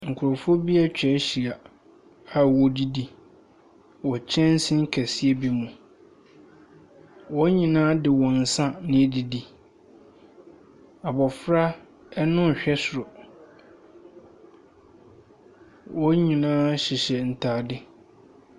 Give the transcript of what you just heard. Nkurɔfoɔ bi atwa ahyia a wɔredidi wɔ kyɛnse kɛseɛ bi mu. Wɔn nyinaa de wɔn nsa na ɛredidi. Abɔfra no rehwɛ soro. Wɔn nyinaa hyehyɛ ntade.